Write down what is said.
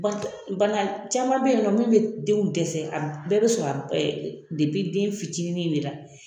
Banan caman be yen nɔ min be denw dɛsɛ a bɛɛ be sɔrɔ a ɛ depi den fitinin de la